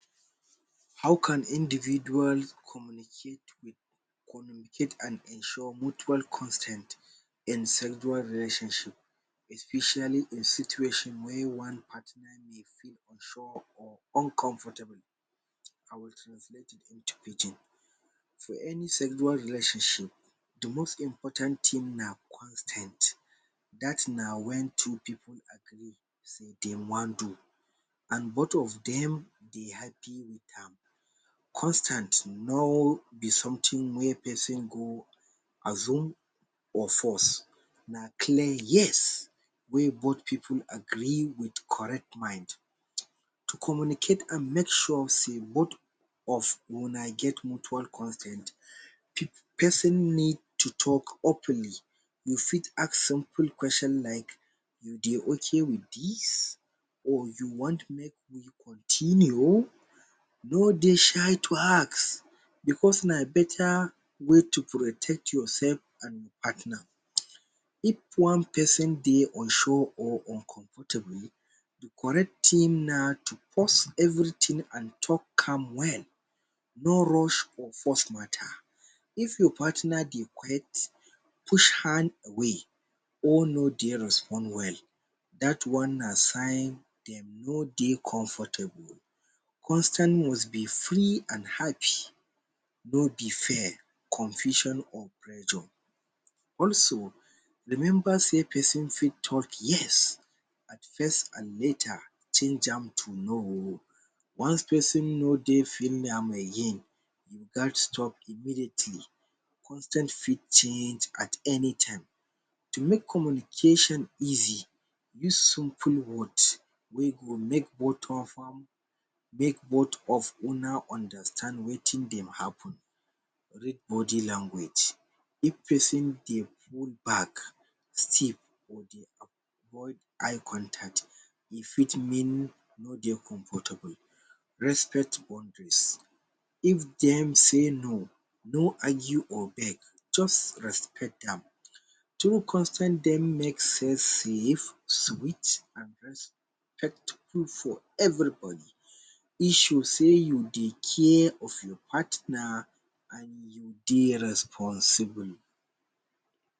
How can individual communicate with communicate and ensure mutual consent in several relationship especially in situation wey one party may feel unsure or uncomfortable. I will translate it in pidgin. for every sexual relationship, de most important thing na consent; that na wen two pipu agree say dem wan do and both of dem dey happy with am. Consent no be something wey person go assume or force. a clear yes wey both pipu with correct mind to communicate and make sure sey bot of una get mutual consent. Person need to talk openly. you fit ask simple questions like ‘you dey okay with this or you want make we continue?’ no dey shy to ask because na beta way to protect yourself and partner if one person dey unsure or uncomfortable. de correct thing na to pause everything and talk am well. no rush or force mata if your partner dey quick push hand away or no dey respond well, that one na sign dem no dey comfortable oh. Consent must be free and happy. no be fair confusion or pressure. Also remember sey person fit talk out yes at first and later change am to no oh. Once person no dey feel am again, e gast stop immediately. Consent fit change at any time to make communication easy, use simple words wey go make both of am make both of una understand wetin dey happen. Read body language of person. If e dey move back still or e dey avoid eye contact, e fit mean e no dey comfortable. Respect boundaries if dem say no, no argue or beg just respect am. Through consent, dey make sex safe, sweet and respectful for everybody. E show sey you dey care of your partner and you dey responsible.